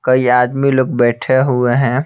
कई आदमी लोग बैठे हुए हैं।